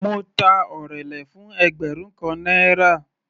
Mo ta orele fún ẹgbẹrun kan náírà.